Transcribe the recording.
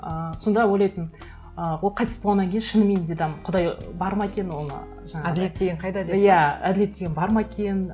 ыыы сонда ойлайтынмын ы ол қайтыс болғаннан кейін шынымен де там құдай бар ма екен ол жаңағыдай әділет деген қайда деп иә әділет деген бар ма екен